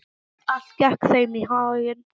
Allt gekk þeim í haginn.